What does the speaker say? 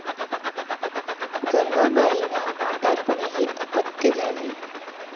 गंगाबाईना म्हातारपणी हे अपत्य झाले.